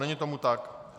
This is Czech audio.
Není tomu tak.